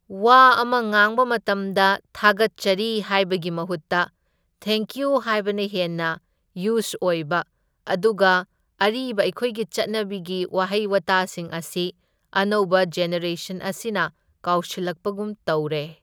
ꯋꯥ ꯑꯃ ꯉꯥꯡꯕ ꯃꯇꯝꯗ ꯊꯥꯒꯠꯆꯔꯤ ꯍꯥꯏꯕꯒꯤ ꯃꯍꯨꯠꯇ ꯊꯦꯡꯀ꯭ꯌꯨ ꯍꯥꯏꯕꯅ ꯍꯦꯟꯅ ꯌꯨꯁ ꯑꯣꯏꯕ, ꯑꯗꯨꯒ ꯑꯔꯤꯕ ꯑꯩꯈꯣꯏꯒꯤ ꯆꯠꯅꯕꯤꯒꯤ ꯋꯥꯍꯩ ꯋꯥꯇꯥꯁꯤꯡ ꯑꯁꯤ ꯑꯅꯧꯕ ꯖꯦꯅꯦꯔꯦꯁꯟ ꯑꯁꯤꯅ ꯀꯥꯎꯁꯤꯜꯂꯛꯄꯒꯨꯝ ꯇꯧꯔꯦ꯫